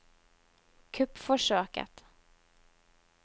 kuppforsøket